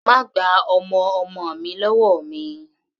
Má gba ọmọ ọmọ mi lọ́wọ́ mi!